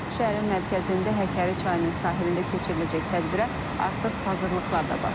Şəhərin mərkəzində Həkəri çayının sahilində keçiriləcək tədbirə artıq hazırlıqlar da başlayıb.